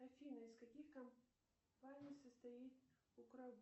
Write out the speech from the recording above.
афина из каких компаний состоит